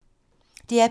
DR P2